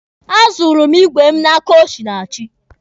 A zụrụ m igwe mụ n'aka Osinachi.